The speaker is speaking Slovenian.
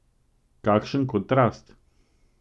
Kakšen kontrast!